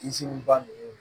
ba ninnu